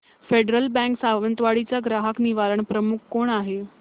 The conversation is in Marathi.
फेडरल बँक सावंतवाडी चा ग्राहक निवारण प्रमुख कोण आहे